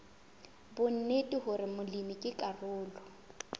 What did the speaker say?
bonnete hore molemi ke karolo